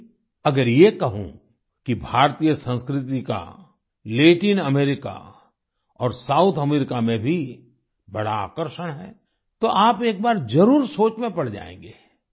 लेकिन अगर ये कहूँ कि भारतीय संस्कृति का लैटिन अमेरिका और साउथ अमेरिका में भी बड़ा आकर्षण है तो आप एक बार जरुर सोच में पड़ जायेंगे